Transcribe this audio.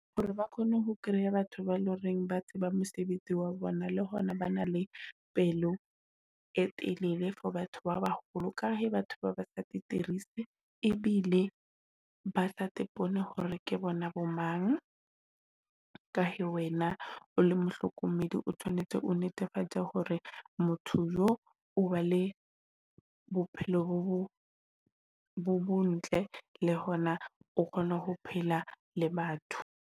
Hore ba kgone ho kreya batho ba loreng ba tseba mosebetsi wa bona, le hona ba na le pelo e telele for batho ba baholo ka he batho ba batla ebile ba sa te pone hore ke bona bo mang. Ka he wena o la mohlokomedi, o tshwanetse o netefatse hore motho yo o ba le bophelo bo ntle. Le hona o kgona ho phela le batho.